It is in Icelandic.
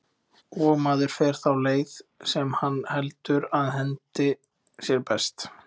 Og maður fer þá leið, sem hann heldur að henti sér best.